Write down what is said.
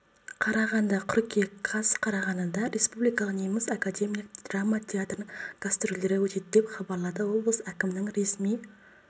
қарағанды қыркүйек қаз қарағандыда республикалық неміс академиялық драма театрының гастрольдері өтеді деп хабарлады облыс әкімінің ресми